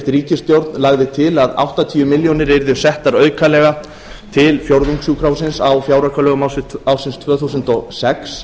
ríkisstjórn lagði til að áttatíu milljónir yrðu settar aukalega til fjórðungssjúkrahússins á fjáraukalögum ársins tvö þúsund og sex